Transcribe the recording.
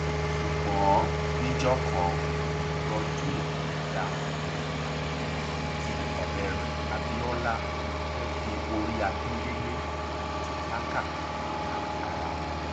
ṣùgbọ́n níjọ kan godwin dabop àti ọ̀rẹ́ rẹ̀ abiola fẹ́ẹ́ fi orí akíndélé àti tàkà gba ara wọn